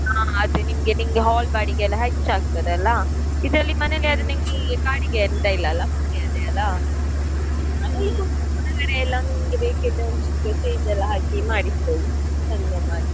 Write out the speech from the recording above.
ಹಾ ಅದು ನಿಮಗೆ hall ಬಾಡಿಗೆ ಎಲ್ಲ ಹೆಚ್ಚಾಗ್ತದೆ ಅಲ್ಲ ಇದ್ರಲ್ಲಿ ಮನೆಯಲ್ಲಿ ಆದ್ರೆ ನಿಂಗೆ ಬಾಡಿಗೆ ಎಂತ ಇಲ್ಲಲ್ಲ ಹಾಗೆ ಹೊರಗಡೆ ಎಲ್ಲ ನಿಂಗೆ ಬೇಕಿದ್ರೆ ಒಂದು ಚಿಕ್ಕ stage ಎಲ್ಲ ಹಾಕಿ ಮಾಡಿಸಬೋದು ಚಂದ ಮಾಡಿ.